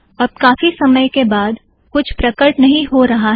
अब काफी समय के बाद भी कुछ प्रकट नहीं हो रहा है